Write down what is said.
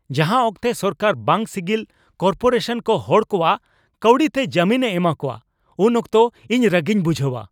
ᱡᱟᱦᱟᱸ ᱚᱠᱛᱮ ᱥᱚᱨᱠᱟᱨ ᱵᱟᱝ ᱥᱤᱜᱤᱞ ᱠᱚᱨᱯᱳᱨᱮᱥᱚᱱ ᱠᱚ ᱦᱚᱲ ᱠᱚᱣᱟᱜ ᱠᱟᱹᱣᱰᱤ ᱛᱮ ᱡᱟᱹᱢᱤᱱᱮ ᱮᱢᱟ ᱠᱚᱣᱟ, ᱩᱱ ᱚᱠᱛᱚ ᱤᱧᱨᱟᱹᱜᱤᱧ ᱵᱩᱡᱷᱟᱹᱣᱟ ᱾